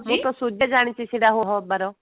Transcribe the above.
ଜାଣିଛି ସେଟା ଆଉ ହବାର